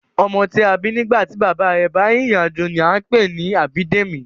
Ọmọ tí a bí nígbà tí bàbá rẹ̀ bá rìnrìn-àjò ni a ń pè ní Abídèmí